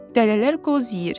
Dələlər qoz yeyir.